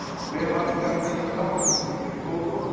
Hve margar geta krabbameinsfrumur í blóði orðið?